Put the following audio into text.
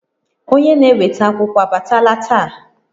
Onye na-eweta akwụkwọ abatala taa?